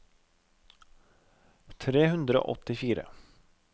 tre hundre og åttifire